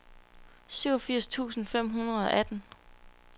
syvogfirs tusind fem hundrede og atten